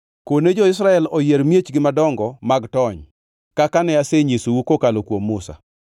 “Kone jo-Israel oyier miechgi madongo mag tony, kaka ne asenyisou kokalo kuom Musa,